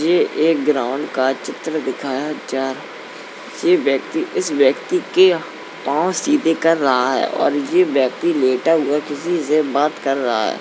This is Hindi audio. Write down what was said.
ये एक ग्राउंड का चित्र दिखाया जा ये व्यक्ति इस व्यक्ति के पाँव सीधे कर रहा है और ये व्यक्ति लेता हुआ किसी से बात कर रहा है।